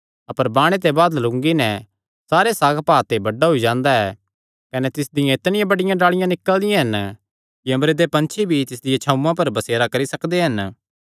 अपर बाणे ते बाद लूंगी नैं सारे सागपात ते बड्डा होई जांदा ऐ कने तिसदियां इतणियां बड्डियां डाल़िआं निकल़दियां हन कि अम्बरे दे पंछी भी तिसदिया छाऊआं च बसेरा करी सकदे हन